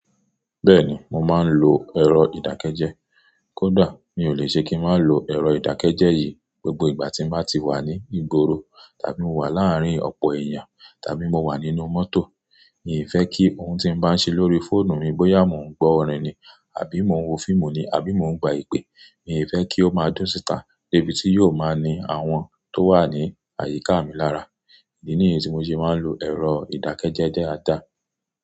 Bẹ́ẹ̀ni, mo máa ń lo ẹ̀rọ ìdákẹ́jẹ́. Kódà mi ò lè ṣe kí n má lo ẹ̀rọ ìdákẹ́jẹ́ yìí, gbogbo ìgbà tí mo bá ti wà ní ìgboro, tàbí mo wà láàárín ọ̀pọ̀ èèyàn, tàbí mo wà nínú mọ́tò. N ò fẹ́ kí ohun tí mo bá ń ṣe lórí fóònù mi bóyá mo ń gbọ́ orin ni, àbí mo ń wo fíìmù ni, àbí mo ń gba ìpè. N ò fẹ́ kí ó máa dún síta, débi tí yóò máa ní àwọn tó wà ní àyíká mi lára. Idi nìyẹn tí mo ṣe máa ń lo ẹ̀rọ ìdákẹ́jẹ́ dáadáa.